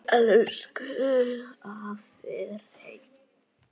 Elsku afi Hreinn.